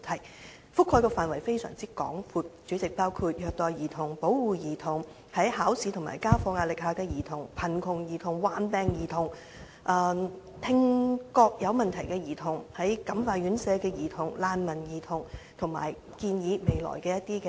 主席，這些問題涵蓋的範圍非常廣闊，包括虐待兒童、保護兒童、在考試和家課壓力下的兒童、貧窮兒童、患病兒童、聽覺有問題的兒童、在感化院舍的兒童、難民兒童，以及對未來路向的一些建議。